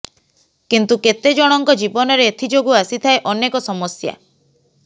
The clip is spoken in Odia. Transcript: କିନ୍ତୁ କେତେ ଜଣଙ୍କ ଜୀବନରେ ଏଥିଯୋଗୁ ଆସିଥାଏ ଅନେକ ସମସ୍ୟା